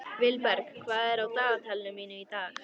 Vilberg, hvað er á dagatalinu mínu í dag?